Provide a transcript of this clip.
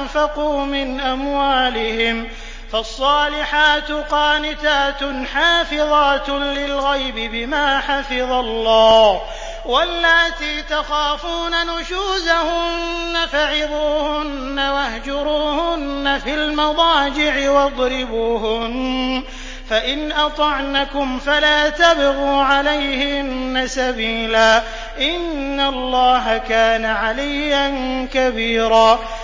أَنفَقُوا مِنْ أَمْوَالِهِمْ ۚ فَالصَّالِحَاتُ قَانِتَاتٌ حَافِظَاتٌ لِّلْغَيْبِ بِمَا حَفِظَ اللَّهُ ۚ وَاللَّاتِي تَخَافُونَ نُشُوزَهُنَّ فَعِظُوهُنَّ وَاهْجُرُوهُنَّ فِي الْمَضَاجِعِ وَاضْرِبُوهُنَّ ۖ فَإِنْ أَطَعْنَكُمْ فَلَا تَبْغُوا عَلَيْهِنَّ سَبِيلًا ۗ إِنَّ اللَّهَ كَانَ عَلِيًّا كَبِيرًا